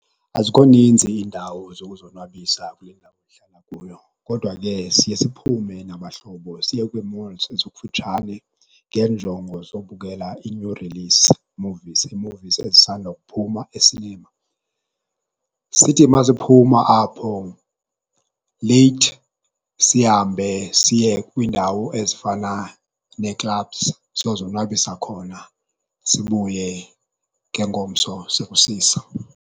Azikho ninzi iindawo zokuzonwabisa kule ndawo ndihlala kuyo, kodwa ke siye siphume nabahlobo siye kwii-malls ezikufutshane ngeenjongo zobukela ii-new-release movies ezisanda kuphuma esinema. Sithi masiphume apho leyith, sihambe siye kwindawo ezifana nee-clubs siyozonwabisa khona sibuye ngengomso sekusisa.